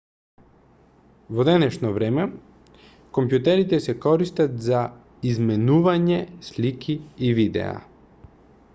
во денешно време компјутерите се користат за изменување слики и видеа